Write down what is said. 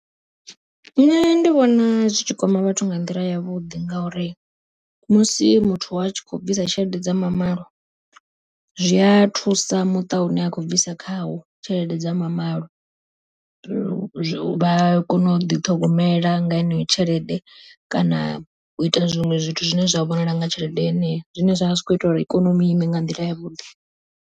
Nṋe ndi vhona zwitshi kwama vhathu nga nḓila yavhuḓi, ngauri musi muthu a tshi kho bvisa tshelede dza mamalo, zwi a thusa muṱa une a khou bvisa khawo tshelede dza mamalo. Vha kone u ḓi ṱhogomela nga heneyo tshelede, kana u ita zwiṅwe zwithu zwine zwa vhonala nga tshelede yeneyo, zwine zwavha zwi kho ita uri ikonomi ime nga nḓila yavhuḓi.